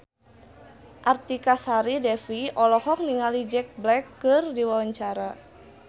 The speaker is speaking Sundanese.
Artika Sari Devi olohok ningali Jack Black keur diwawancara